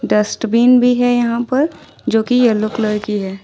Dustbin भी है यहां पर जो कि येलो कलर की है।